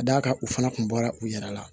Ka d'a kan u fana kun bɔra u yɛrɛ la